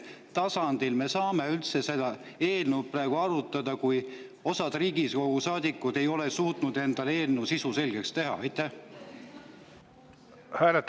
Kas me saame üldse seda eelnõu praegu arutada, kui osa Riigikogu saadikuid ei ole suutnud endale eelnõu sisu selgeks teha?